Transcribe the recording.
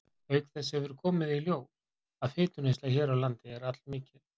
Auk þess hefur komið í ljós, að fituneysla hér á landi er allmikil.